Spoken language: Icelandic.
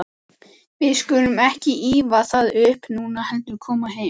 Við skulum ekki ýfa það upp núna, heldur koma heim.